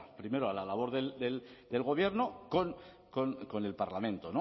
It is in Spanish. primero a la labor del gobierno con el parlamento